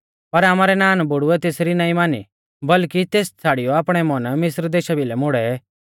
पर आमारै नानबुड़ुऐ तेसरी नाईं मानी बल्कि तेस छ़ाड़ियौ आपणै मन मिस्र देशा भिलै मोड़ै